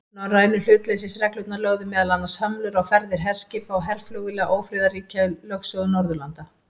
Norrænu hlutleysisreglurnar lögðu meðal annars hömlur á ferðir herskipa og herflugvéla ófriðarríkja í lögsögu Norðurlanda.